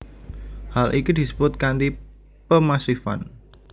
Hal iki disebut kanti pemasifan